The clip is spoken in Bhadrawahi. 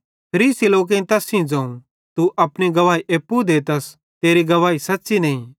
फरीसी लोकेईं तैस सेइं ज़ोवं तू अपनी गवाही एप्पू देतस तेरी गवाही सच़्च़ी नईं